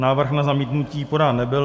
Návrh na zamítnutí podán nebyl.